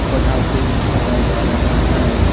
पठाके भी छोड़ा जा रहा हैं ।